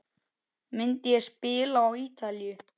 Myndi ég spila á Ítalíu?